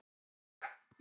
Það var hjartaáfall.